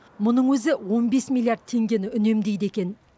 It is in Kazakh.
мұның өзі он бес миллиард теңгені үнемдейді екен